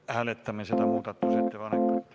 Me hääletame seda muudatusettepanekut.